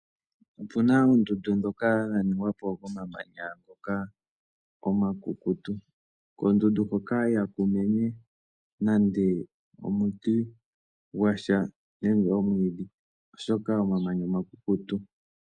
Opu na oondundu ndhoka dha ningwa po komamanya ngoka omakukutu. Koondundu hoka ihaku mene nande omuti gwa sha nenge omwiidhi, oshoka omamanya omakukutu.